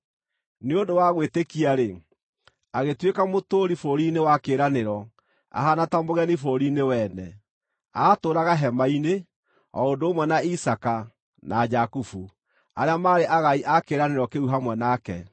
Nĩ ũndũ wa gwĩtĩkia-rĩ, agĩtuĩka mũtũũri bũrũri-inĩ wa kĩĩranĩro ahaana ta mũgeni bũrũri-inĩ wene; aatũũraga hema-inĩ, o ũndũ ũmwe na Isaaka na Jakubu, arĩa maarĩ agai a kĩĩranĩro kĩu hamwe nake.